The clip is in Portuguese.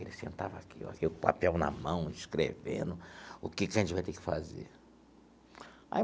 Ele sentava aqui, com o papel na mão, escrevendo o que que a gente vai ter que fazer aí.